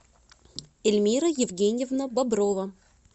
эльмира евгеньевна боброва